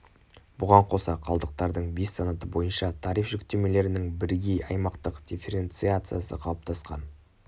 бұған қоса қалдықтардың бес санаты бойынша тариф жүктемелерінің бірегей аймақтық дифференциациясы қалыптасқан